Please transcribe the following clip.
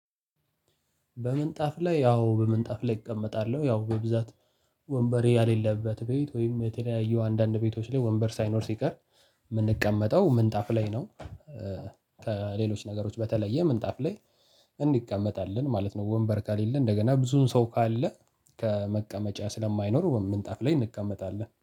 በምንጣፍ ላይ ያው በምንጣፍ ላይ እቀመጣለሁ ያው በብዛት ወንበሬ ያሌለበት ቤት ወይም የተለያዩ አንዳንድ ቤቶች ላይ ወንበር ሳይኖር ሲቀር የምንቀመጠው ምንጣፍ ላይ ነው። ከሌሎች ነገሮች በተለየ ምንጣፍ ላይ እንቀመጣለን ማለት ነው። ወንበር ከሌለ እንደገና ብዙን ሰው ካለ ተ መቀመጫ ስለማይኖር ወይም ምንጣፍ ላይ እንቀመጣለን